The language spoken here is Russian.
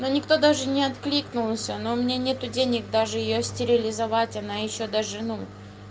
но никто даже не откликнулся но у меня нет денег даже её стерилизовать она ещё даже ну